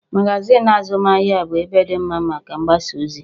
Magazin azụmahịa bụ ebe dị mma maka mgbasaozi